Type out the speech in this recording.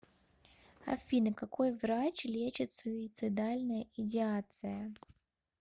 афина какой врач лечит суицидальная идеация